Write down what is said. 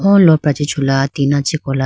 o lopra chee chula tina chee kola.